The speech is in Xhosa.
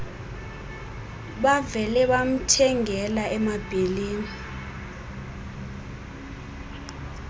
bavele bamthengela emabheleni